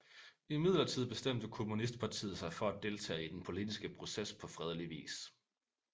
Imidlertid bestemte kommunistpartiet sig for at deltage i den politiske proces på fredelig vis